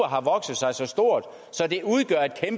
har vokset sig så stort